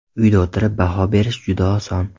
Uyda o‘tirib baho berish juda oson.